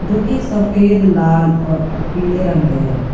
जो की सफेद लाल और पीले रंग के है।